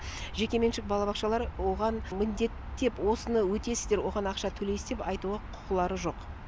жекеменшік балабақшалар оған міндеттеп осыны өтесіздер оған ақша төлейсіз деп айтуға құқылары жоқ